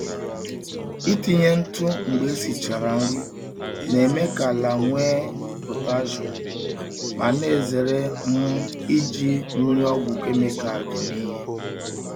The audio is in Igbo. Itinye ntụ mgbe esichara nri na-eme ka ala nwee potassium ma na-ezere um iji mmiri ọgwụ kemịkal eme ihe.